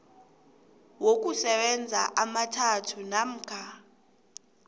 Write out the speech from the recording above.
wokusebenza amathathu namkha